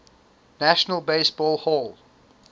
national baseball hall